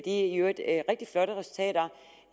i øvrigt rigtig flotte resultater